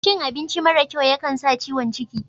Cin abinci mara kyau ya kan sa ciwon cikin.